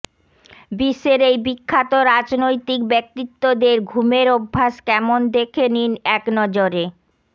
বিশ্বের এই বিখ্যাত রাজনৈতিক ব্যক্তিত্বদের ঘুমের অভ্যাস কেমন দেখে নিন একনজরে